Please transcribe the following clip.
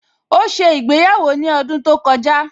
Ó ṣe ìgbéyàwó ní ọdún tó kọjá